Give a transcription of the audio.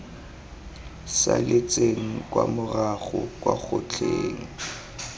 saletseng kwa morago kwa kgotleng